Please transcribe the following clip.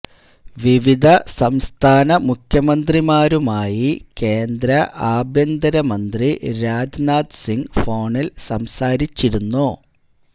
വിവിധ സംസ്ഥാന മുഖ്യമന്ത്രിമാരുമായി കേന്ദ്ര ആഭ്യന്തരമന്ത്രി രാജ്നാഥ് സിങ് ഫോണിൽ സംസാരിച്ചിരുന്നു